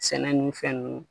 Sɛnɛ ninnu, fɛn ninnu